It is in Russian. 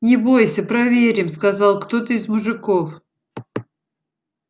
не бойся проверим сказал кто-то из мужиков